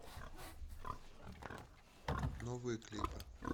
новые клипы